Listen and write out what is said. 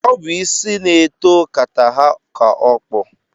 Ọ bụ isi na-eto kata ha ka okpu.